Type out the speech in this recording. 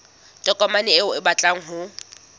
tokomane eo o batlang ho